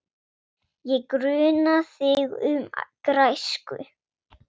Ég gruna þig um græsku.